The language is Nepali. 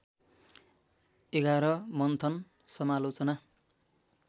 ११ मन्थन समालोचना